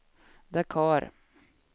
Dakar